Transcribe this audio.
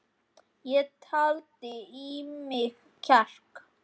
Ég taldi í mig kjark.